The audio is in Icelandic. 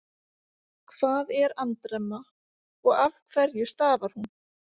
Hvað er andremma og af hverju stafar hún?